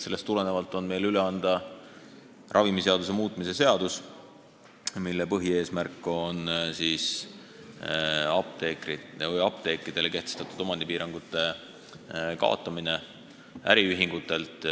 Sellest tulenevalt on meil üle anda ravimiseaduse muutmise seadus, mille põhieesmärk on apteekidele kehtestatud omandipiirangute kaotamine äriühingute puhul.